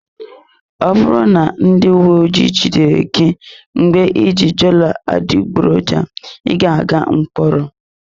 Ọ bụrụ na ndị uwe ojii jide gị ebe iji dollar adịgboroja, ị ga-aga mkpọrọ.